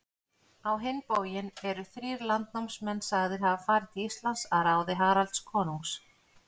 Á hinn bóginn eru þrír landnámsmenn sagðir hafa farið til Íslands að ráði Haralds konungs.